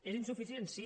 és insuficient sí